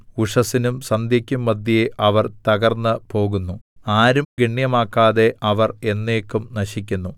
ഉഷസ്സിനും സന്ധ്യക്കും മദ്ധ്യേ അവർ തകർന്നുപോകുന്നു ആരും ഗണ്യമാക്കാതെ അവർ എന്നേക്കും നശിക്കുന്നു